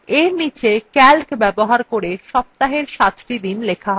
এর নীচে calc ব্যবহার করে সপ্তাহের সাতটি দিন লেখা হবে